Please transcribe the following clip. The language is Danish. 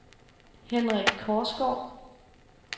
Henrik Korsgaard